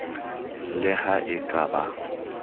le ha e ka ba